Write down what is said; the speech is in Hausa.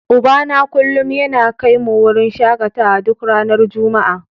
Ubana kullum yana kai mu wurin shakatawa duk ranar Juma'a.